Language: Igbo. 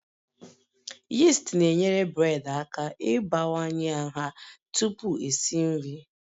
Yist na-enyere bred aka ịbawanye nha tupu esi nri